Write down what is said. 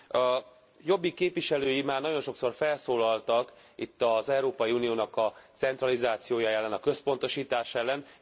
A Jobbik képviselői már nagyon sokszor felszólaltak itt az Európai Uniónak a centralizációja ellen, a központosítása ellen.